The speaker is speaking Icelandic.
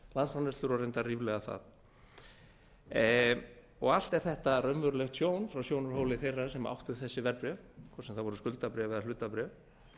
landsframleiðslur og líklega ríflega það allt er þetta raunverulegt tjón frá sjónarhóli þeirra sem áttu þessi verðbréf hvort sem það voru skuldabréf eða hlutabréf